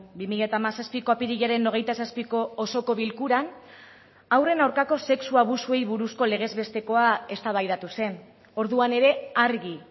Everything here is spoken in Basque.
bi mila hamazazpiko apirilaren hogeita zazpiko osoko bilkuran haurren aurkako sexu abusuei buruzko legez bestekoa eztabaidatu zen orduan ere argi